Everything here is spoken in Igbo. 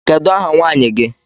Kedu ahà nwaanyị gi?